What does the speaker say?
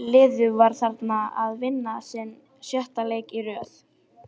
Liðið var þarna að vinna sinn sjötta leik í röð.